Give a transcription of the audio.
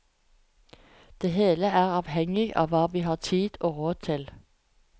Det hele er avhenging av hva vi har tid og råd til.